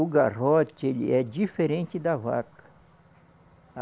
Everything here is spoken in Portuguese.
O garrote, ele é diferente da vaca.